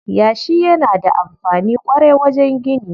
Yashi yana da amfani ƙwarai wajen gini.